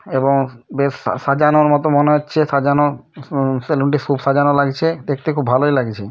এবং বেশ সা সাজানোর মতো মনে হচ্ছে। সাজানো উ সেলুন -টি খুব সাজানো লাগছে দেখতে খুব ভালই লাগছে।